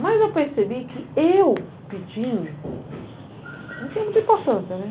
Mas eu percebi que eu pedindo não tinha muita importância, né?